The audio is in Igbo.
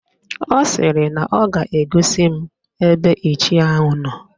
Ọ sịrị na ọ ga-egosi m ebe Ichie ahụ nọ